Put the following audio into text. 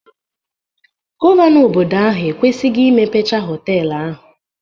Gọvanọ obodo ahụ ekwesigo imepecha họtelu ahụ